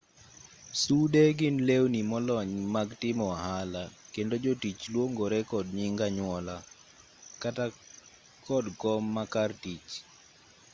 sude gin lewni molony mag timo ohala kendo jotich luongore kod nying anyuola kata kod kom makar tich